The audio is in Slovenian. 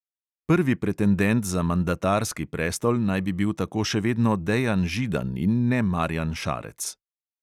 Prvi pretendent za mandatarski prestol naj bi bil tako še vedno dejan židan in ne marjan šarec.